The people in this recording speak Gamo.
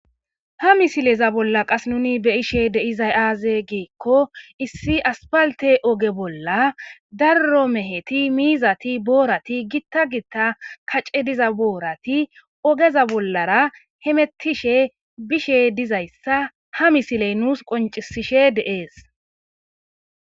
ha misileza bolla qas nuni be ishe deizay aaze giikko issi aspalte oge bolla darro meheti miizati boorati gitta gitta kace diza boorati ogeza bollara hemettishe bishe dizayssa ha misiley nuus qoncisishe deees